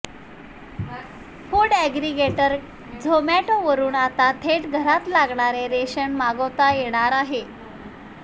food aggregator झोमॅटोवरून आता थेट घरात लागणारे रेशन मागवता येणार आहे